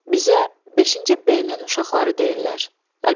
Bizə 5-ci B-nin uşaqları deyirlər.